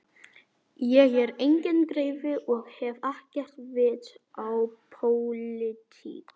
Ég er enginn greifi og hef ekkert vit á pólitík.